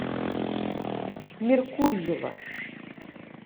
меркурьева